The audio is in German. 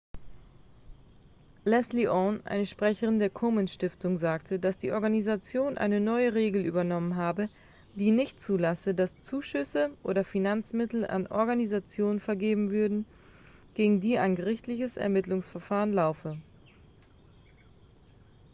leslie aun eine sprecherin der komen-stiftung sagte dass die organisation eine neue regel übernommen habe die nicht zulasse dass zuschüsse oder finanzmittel an organisationen vergeben würden gegen die ein gerichtliches ermittlungsverfahren laufe